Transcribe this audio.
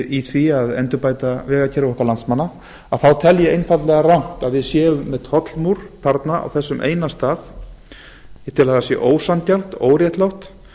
í því að endurbæta vegakerfi okkar landsmanna þá tel ég einfaldlega rangt að við séum með tollmúr að við séum þarna á þessum eina stað ég tel að það sé ósanngjarnt óréttlátt